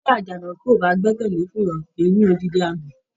Bí àjànàkú o bá gbẹ́kẹlé fùrọ, kìí mi òdindi àgbọn.